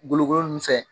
Golokolon nunnu fɛ